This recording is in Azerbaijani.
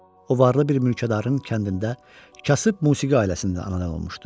O varlı bir mülkədarın kəndində kasıb musiqi ailəsindən anadan olmuşdu.